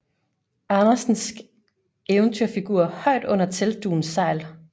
Andersensk eventyrfigur højt under teltdugens sejl